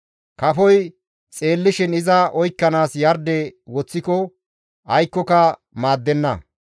Kafoy xeellishin iza oykkanaas yarde woththiko aykkoka maaddenna.